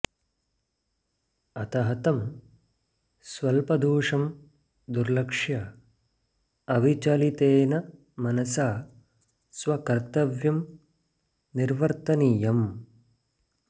अतः तं स्वल्पदोषं दुर्लक्ष्य अविचलितेन मनसा स्वकर्तव्यं निर्वर्तनीयम्